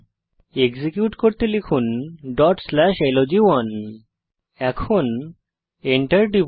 execute করতে লিখুন dot slash লগ1 এখন Enter টিপুন